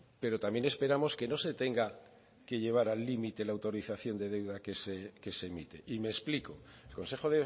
pero también esperamos que no se tenga que llevar al límite la autorización del deuda que se emite y me explico el consejo